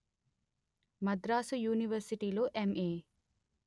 మద్రసు యూనివర్శిటీలో ఎంఏ